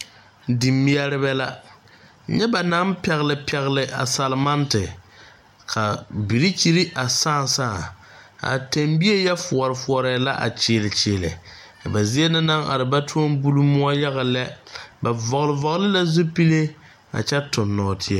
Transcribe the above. Dimeɛrebɛ la nyɛ ba naŋ pɛgle pɛgle a salenmante ka birikyiri a sãã sãã a tɛmbie yɛ foɔre foɔrɛɛ la a kyiili kyiili a ba zie na naŋ are ba toɔ buli moɔ yaga lɛ ba vɔgle vɔgle la zupile a kyɛ toŋ nɔɔteɛ.